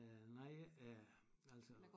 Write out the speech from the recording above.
Øh nej øh altså